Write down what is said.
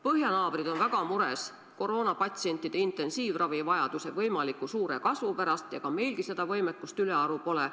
Põhjanaabrid on väga mures koroonapatsientide intensiivravivajaduse võimaliku suure kasvu pärast ja ega meilgi seda võimekust ülearu pole.